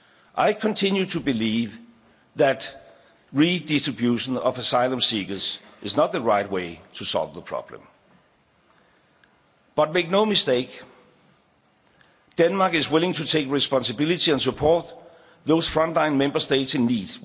good. I continue to believe that redistribution of asylum seekers is not the right way to solve the problem, but make no mistake Denmark is willing to take responsibility and support those frontline Member States in